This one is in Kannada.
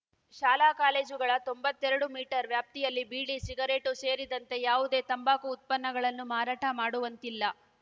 ಶಾಲಾ ಕಾಲೇಜುಗಳ ತೊಂಬತ್ತೆರಡು ಮೀಟರ್‌ ವ್ಯಾಪ್ತಿಯಲ್ಲಿ ಬೀಡಿ ಸಿಗರೇಟು ಸೇರಿದಂತೆ ಯಾವುದೇ ತಂಬಾಕು ಉತ್ಪನ್ನಗಳನ್ನು ಮಾರಾಟ ಮಾಡುವಂತಿಲ್ಲ